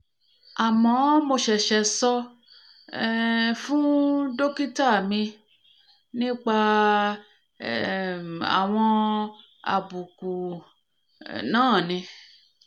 àmọ́ mo ṣẹ̀ṣẹ̀ sọ um fún dókítà mi nípa um àwọn àbùkù um náà ni